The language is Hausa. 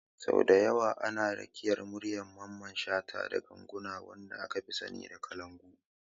Sau da yawa ana rakiyar muryar Mamman shata da ganguna, wanda aka fi sani da kalangu.